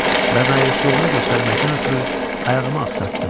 Və məyusluğumu göstərməkdən ötrü ayağımı axsatdım.